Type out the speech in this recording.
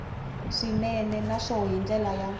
swinene naswona hi ndlela ya